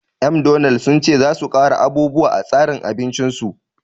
McDonald sun ce za su ƙara abubuwa a tsarin abincin su